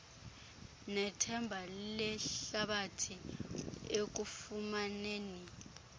nethemba lehlabathi ekufumaneni